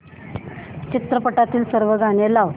चित्रपटातील सर्व गाणी लाव